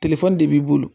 telefɔni de b'i bolo